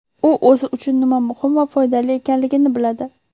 U o‘zi uchun nima muhim va foydali ekanligini biladi”.